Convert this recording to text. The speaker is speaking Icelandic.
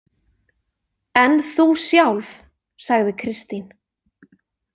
En þú sjálf, sagði Kristín.